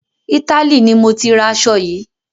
Italy ni mọ tí ra aṣo yìí.